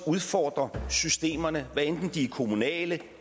udfordrer systemerne hvad enten de er kommunale